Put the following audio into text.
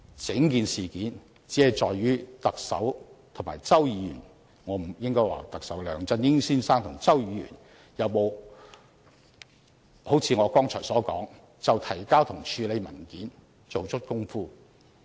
整件事件只在於特首和周議員......應該說是梁振英先生和周議員有否好像我剛才所說，就提交和處理文件做足工夫。